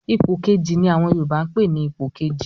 "Ipò Kejì" ni àwọn Yorùbá ń pè ní Ipò kejì